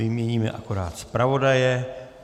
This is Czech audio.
Vyměníme akorát zpravodaje.